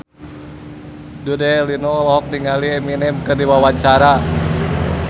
Dude Herlino olohok ningali Eminem keur diwawancara